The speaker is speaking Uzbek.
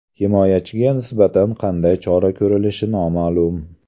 Himoyachiga nisbatan qanday chora ko‘rilishi noma’lum.